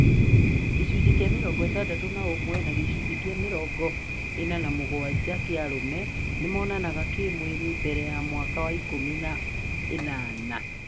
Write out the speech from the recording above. Gĩcunjĩ kĩa mĩrongo ĩtandatũ na ũmwe na gũcunjĩ kĩa mĩrongo ĩna na mũgwanja kĩa arũme ,nĩmonanaga kĩmwĩrĩ mbere ya mwaka wa ikũmi na ĩnana